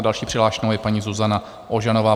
A další přihlášenou je paní Zuzana Ožanová.